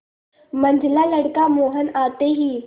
मंझला लड़का मोहन आते ही